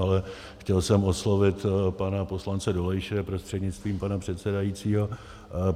Ale chtěl jsem oslovit pana poslance Dolejše prostřednictvím pana předsedajícího.